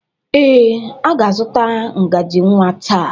Ee, ọ ga-azụta ngaji nwa taa.